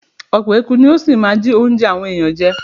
Ọ̀pọ̀ eku ni ó ṣì máa jí óúnjẹ àwọn èèyàn jẹ.